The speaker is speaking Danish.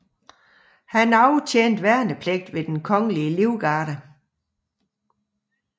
Han aftjente værnepligt ved Den Kongelige Livgarde